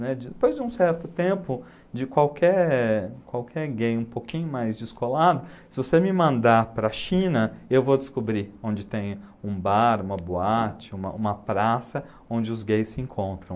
né, de, depois de um certo tempo de qualquer qualquer gay um pouquinho mais descolado, se você me mandar para a China, eu vou descobrir onde tem um bar, uma boate, uma uma praça onde os gays se encontram.